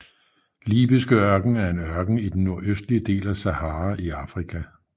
Libyske Ørken er en ørken i den nordøstlige del af Sahara i Afrika